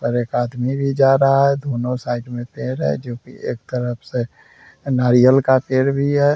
और एक आदमी भी जा रहा है। दोनों साइड में पेड़ है जो कि एक तरफ से नारियल का पेड़ भी है।